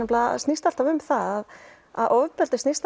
snýst alltaf um það að ofbeldi snýst